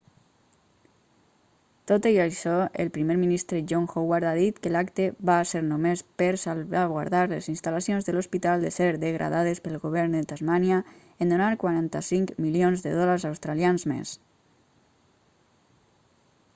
tot i això el primer ministre john howard ha dit que l'acte va ser només per salvaguardar les instal·lacions de l'hospital de ser degradades pel govern de tasmània en donar 45 milions de dòlars australians més